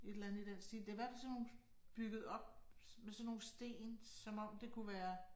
Et eller andet i den stil. Det i hvert fald sådan nogen bygget op med sådan nogle sten som om det kunne være